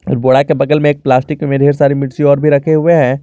बोड़ा के बगल में एक प्लास्टिक में ढेर सारी मिर्च और भी रखे हुए हैं।